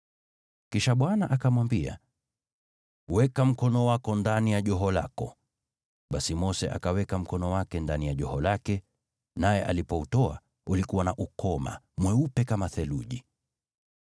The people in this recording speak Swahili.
Kisha Bwana akamwambia, “Weka mkono wako ndani ya joho lako.” Basi Mose akaweka mkono wake ndani ya joho lake, naye alipoutoa, ulikuwa na ukoma, mweupe kama theluji.